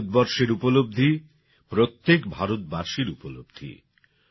ভারতবর্ষের উপলব্ধি প্রত্যেক ভারতবাসীর উপলব্ধি